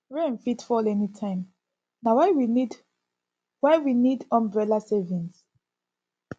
rain fit fall anytime na why we need why we need umbrella savings